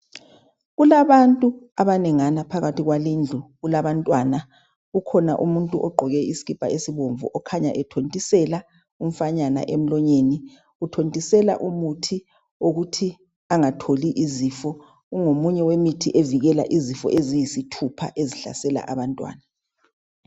Kulabantu abanengana phakathi kwalindlu kulabantwana kukhona umuntu ogqoke isikipa esibomvu okhanya ethontisela umfanyana emlonyeni uthontisela umuthi ukuthi engatholi izifo ungomunye wemithi ovikela izifo eziyisithupha ezihlasela abantwana